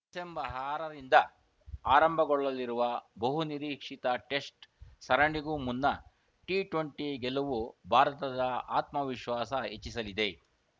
December ಆರರಿಂದ ಆರಂಭಗೊಳ್ಳಲಿರುವ ಬಹುನಿರೀಕ್ಷಿತ ಟೆಸ್ಟ್‌ ಸರಣಿಗೂ ಮುನ್ನ ಟಿ ಟ್ವೆಂಟಿ ಗೆಲುವು ಭಾರತದ ಆತ್ಮವಿಶ್ವಾಸ ಹೆಚ್ಚಿಸಲಿದೆ